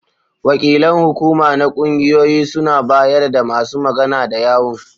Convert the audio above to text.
Wakilan hukuma na ƙungiyoyi suna bayar da masu magana da yawun.